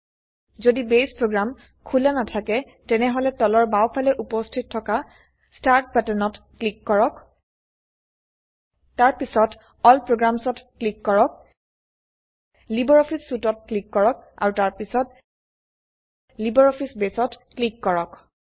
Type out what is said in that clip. যদি base program খোলা নাথাকে তেনেহলে তলৰ বাঁও ফালে উপস্থিত থকা স্টাৰ্ট বাটন ত ক্লিক কৰক তাৰপিছত এল programsত ক্লিক কৰক লাইব্ৰঅফিছ Suiteত ক্লিক কৰক আৰু তাৰপিছত লাইব্ৰঅফিছ বেসত ক্লিক কৰক